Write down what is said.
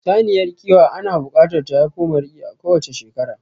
Saniyar kiwa ana buƙatar ta haifo maraƙi a kowacce shekara